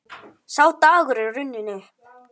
Sá dagur er runninn upp.